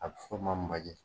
A bi fɔ n ma majɛ